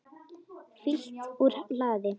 Fylgt úr hlaði